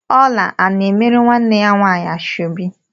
Ọla ana-emere nwanne ya nwaanyị ashọbi?